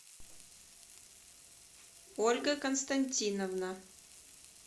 ольга константиновна